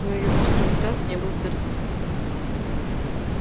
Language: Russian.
но её острый взгляд не был сердитым